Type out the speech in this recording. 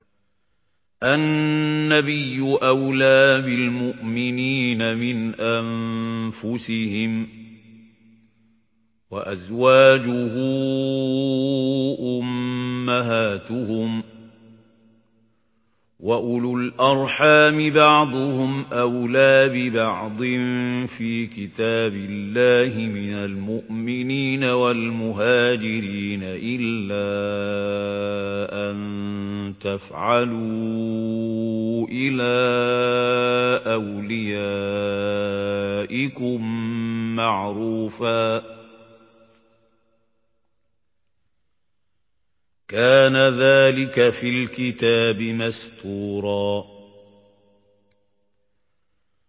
النَّبِيُّ أَوْلَىٰ بِالْمُؤْمِنِينَ مِنْ أَنفُسِهِمْ ۖ وَأَزْوَاجُهُ أُمَّهَاتُهُمْ ۗ وَأُولُو الْأَرْحَامِ بَعْضُهُمْ أَوْلَىٰ بِبَعْضٍ فِي كِتَابِ اللَّهِ مِنَ الْمُؤْمِنِينَ وَالْمُهَاجِرِينَ إِلَّا أَن تَفْعَلُوا إِلَىٰ أَوْلِيَائِكُم مَّعْرُوفًا ۚ كَانَ ذَٰلِكَ فِي الْكِتَابِ مَسْطُورًا